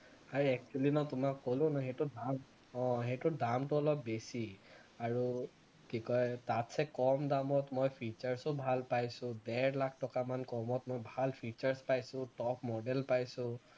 আৰে actually মই তোমাক কলো ন সেইটো দাম অ সেইটো দামটো অলপ বেছি আৰু কি কয় তাতসে কম দামত মই features ও ভাল পাইছো ডেৰ লাখ টকা মান কমত মই ভাল features পাইছো top model পাইছো